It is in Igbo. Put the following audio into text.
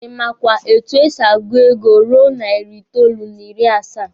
Ị makwa etu e si agụ ego ruru narị itoolu n'ịrị asaa?